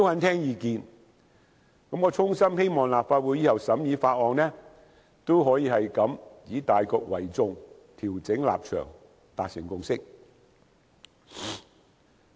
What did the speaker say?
我衷心希望立法會日後審議其他法案時，也可以像今次般以大局為主，調整立場，達成共識。